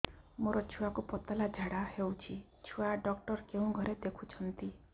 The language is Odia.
ମୋର ଛୁଆକୁ ପତଳା ଝାଡ଼ା ହେଉଛି ଛୁଆ ଡକ୍ଟର କେଉଁ ଘରେ ଦେଖୁଛନ୍ତି